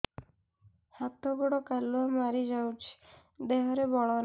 ହାତ ଗୋଡ଼ କାଲୁଆ ମାରି ଯାଉଛି ଦେହରେ ବଳ ନାହିଁ